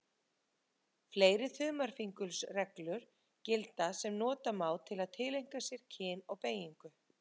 Fleiri þumalfingursreglur gilda sem nota má til að tileinka sér kyn og beygingu.